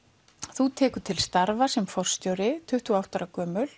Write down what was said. þú tekur til starfa sem forstjóri tuttugu og átta ára gömul